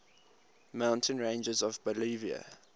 mountain ranges of bolivia